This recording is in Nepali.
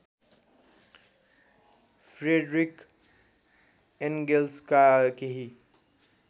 फ्रेडरिख एन्गेल्सका केही